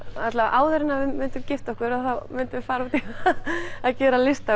áður en við myndum gifta okkur myndum við fara út í að gera listaverk